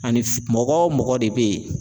Ani mɔgɔ o mɔgɔ de be yen